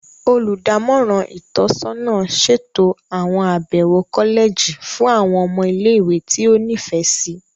Olùdámọ̀ràn itọsọna ṣeto awọn abẹwo kọlẹji fún àwọn ọmọ ile-iwe ti o nifẹ si.